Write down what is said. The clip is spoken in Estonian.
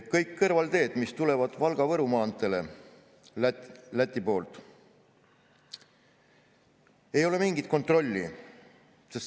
Kõik kõrvalteed, mis tulevad Valga-Võru maanteele Läti poolt – ei ole mingit kontrolli.